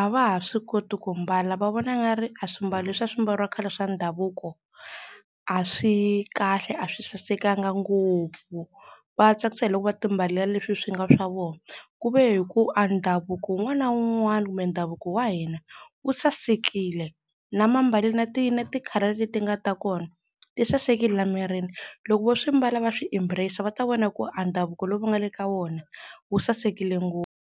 a va ha swi koti ku mbala va vona nga ri a swimbalo leswi a swi mbariwa khale swa ndhavuko a swi kahle a swi sasekanga ngopfu va tsakisa hi loko va timbalela leswi swi nga swa vo, ku ve hi ku a ndhavuko wun'wana na wun'wana kumbe ndhavuko wa hina wu sasekile. Na mambalelo na ti na ti-colour leti nga ta kona ti sasekile la mirini loko vo swi mbala va swi embrace-a va ta vona ku a ndhavuko lowu va nga le ka wona wu sasekile .